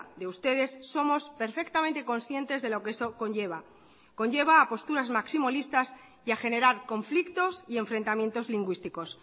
de ustedes somos perfectamente conscientes de lo que eso conlleva conlleva a posturas maximolistas y a generar conflictos y enfrentamientos lingüísticos